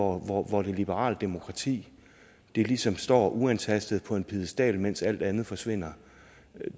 hvor hvor det liberale demokrati ligesom står uantastet på en piedestal mens alt andet forsvinder